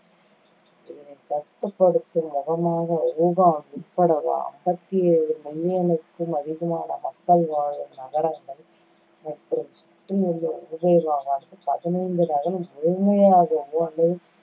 இதனைக் கட்டுப்படுத்தும் முகமாக, ஊகான் உட்பட அம்பத்தி ஏழு million க்கும் அதிகமான மக்கள் வாழும் நகரங்கள், மற்றும் சுற்றியுள்ள ஊபேய் மாகாணத்தில் பதினைந்து நகரங்கள் முழுமையாகவோ அல்லது